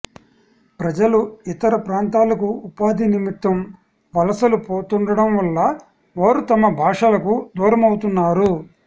ప్రజలు ఇతర ప్రాంతాలకు ఉపాధి నిమిత్తం వలసలు పోతూండడం వల్ల వారు తమ భాషలకు దూరమవుతున్నారు